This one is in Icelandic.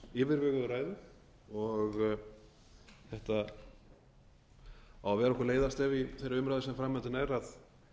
yfirveguðu ræðu þetta á að vera okkur leiðarstef í þeirri umræðu sem framundan er að